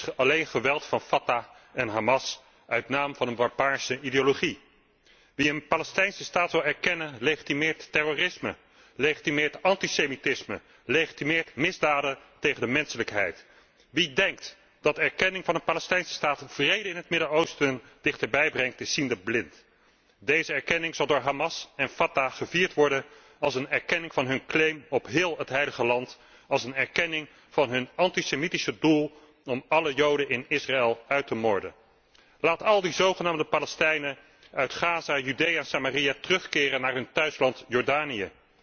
Er is alleen geweld door Fatah en Hamas uit naam van een barbaarse ideologie. Wie een Palestijnse Staat wil erkennen, legitimeert terrorisme, legitimeert antisemitisme en legitimeert misdaden tegen de menselijkheid. Wie denkt dat erkenning van een Palestijnse staat vrede in het Midden Oosten dichterbij brengt, is ziende blind. Deze erkenning zal door Hamas en Fatah gevierd worden als een erkenning van hun claim op heel het Heilige Land, als een erkenning van hun antisemitische doel om alle Joden in Israël uit te moorden. Laat al die zogenaamde Palestijnen uit Gaza, Judea, Samaria terugkeren naar hun thuisland Jordanië.